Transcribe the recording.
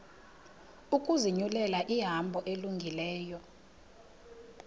ukuzinyulela ihambo elungileyo